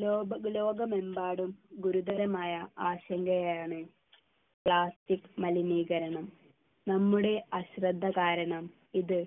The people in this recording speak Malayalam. ലോക ലോകമെമ്പാടും ഗുരുതരമായ ആശങ്കയാണ് plastic മലിനീകരണം നമ്മുടെ അശ്രദ്ധ കാരണം ഇത്